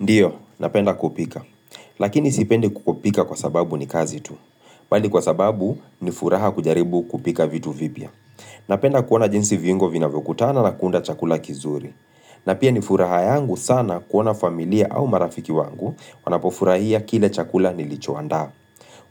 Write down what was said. Ndiyo, napenda kupika. Lakini sipendi kupika kwa sababu ni kazi tu. Bali kwa sababu, nifuraha kujaribu kupika vitu vipya. Napenda kuona jinsi viungo vinavyokutana na kuunda chakula kizuri. Na pia ni furaha yangu sana kuona familia au marafiki wangu, wanapofurahia kile chakula nilichoandaa.